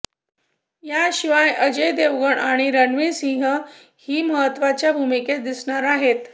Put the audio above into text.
याशिवाय अजय देवगण आणि रणवीर सिंहही महत्त्वाच्या भूमिकेत दिसणार आहेत